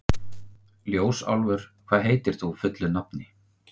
Ljósálfur, hvað heitir þú fullu nafni?